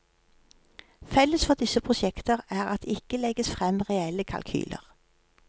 Felles for disse prosjekter er at det ikke legges frem reelle kalkyler.